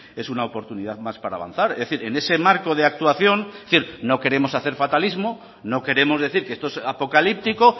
es una oportunidad más para avanzar es decir en ese marco de actuación es decir no queremos hacer fatalismo no queremos decir que esto es apocalíptico